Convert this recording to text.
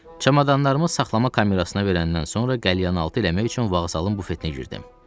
Çamadanımı saxlama kamerasına verəndən sonra qəlyanaltı eləmək üçün vağzalın bufetinə girdim.